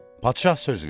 Padşah söz verdi.